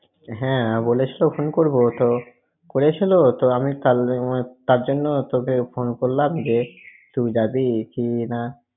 হ্যাঁ বলেছিলও phone করবো তো, করেছিল তো আমি কাল~ তার জন্য তোকে ফোন করলাম যে তুই যাবি কি না!